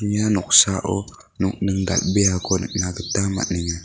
ia noksao nokning dal·beako nikna gita man·enga.